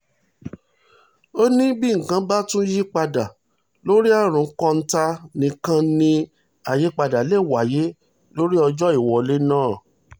ó ní bí nǹkan bá tún yípadà lórí àrùn kọ́ńtà nìkan ni àyípadà lè wáyé lórí ọjọ́ ìwọlé náà